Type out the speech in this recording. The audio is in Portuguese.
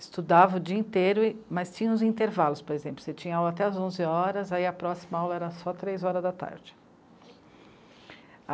Estudava o dia inteiro, mas tinha os intervalos, por exemplo, você tinha aula até as onze horas, aí a próxima aula era só as três horas da tarde.